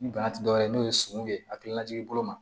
Ni bana ti dɔwɛrɛ ye n'o ye sun ye a hakilinajigi bolo ma